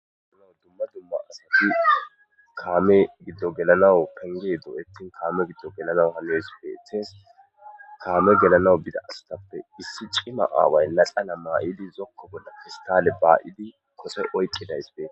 dumma dumma asati kaame giddo gelanawu penge dooyettin kaame giddo gelanaw hanees beetes kaame gelanawu bida astappe issi cima aaway laxana maa'idi zokko bolla pestaale baa'idi kose oyqqidayssi des.